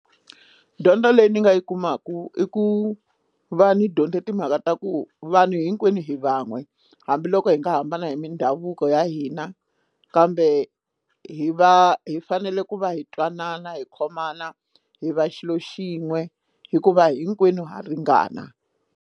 Dyondo leyi ni nga yi kumaka i ku va ni dyonde timhaka ta ku vanhu hinkwenu hi van'we hambiloko hi nga hambana hi mindhavuko ya hina kambe hi va hi fanele ku va hi twanana hi khomana hi va xilo xin'we hikuva hinkwenu ha ringana.